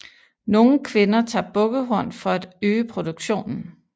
Nogle kvinder tager bukkehorn for at øge produktionen